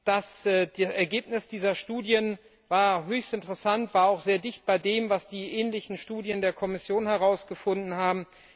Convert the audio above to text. Das Ergebnis dieser Studien war höchst interessant, war auch sehr dicht bei dem, was ähnliche Studien der Kommission herausgefunden haben.